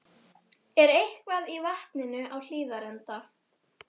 Hafði augsýnilega engan áhuga á þessari romsu.